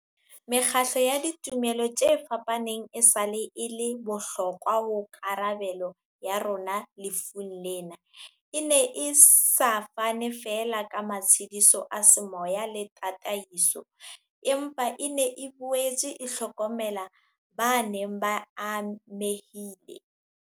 Mekgatlo ya ditumelo tse fapaneng esale e le bohlokwa ho karabelo ya rona lefung lena, e ne e sa fane feela ka matshediso a semoya le ta taiso, empa e ne e boetse e hlokomela ba neng ba amehile.